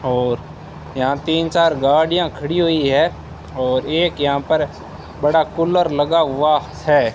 और यहां तीन चार गाड़ियां खड़ी हुई है और एक यहां पर बड़ा कूलर लगा हुआ है।